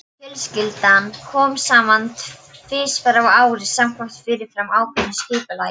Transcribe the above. Fjölskyldan kom saman tvisvar á ári samkvæmt fyrirfram ákveðnu skipulagi.